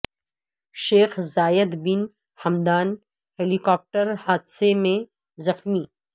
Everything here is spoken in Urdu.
شیخ Zayed bin Hamdan helicopter حادثے میں زخمی